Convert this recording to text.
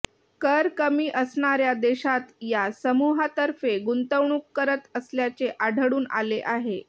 कर कमी असणाऱ्या देशांत या समुहातर्फे गुंतवणूक करत असल्याचे आढळून आले आहे